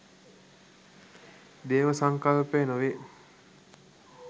දේව සංකල්පය නොවේ.